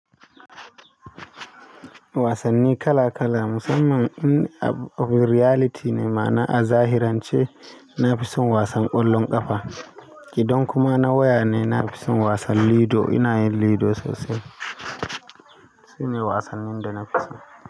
Wasanni kala kala, musamman in abu reality ne, ma'ana a zahirance. Na fi son wasan ƙwallon ƙafa, idan kuma na waya ne. Na fi son wasan lido, ina yin lido sosai. Su ne wasannin da na fi so.